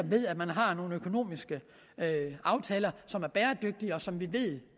ved at man har nogle økonomiske aftaler som er bæredygtige og som vi ved